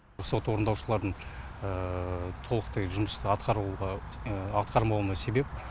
сот орындаушылардың толықтай жұмысты атқарамауына себеп